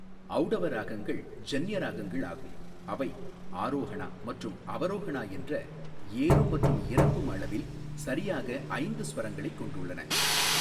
ஔடவ ராகங்கள் ஜன்ய ராகங்கள் ஆகும், அவை ஆரோஹனா மற்றும் அவரோஹனா என்ற ஏறும் மற்றும் இறங்கும் அளவில் சரியாக ஐந்து ஸ்வரங்களைக் கொண்டுள்ளன.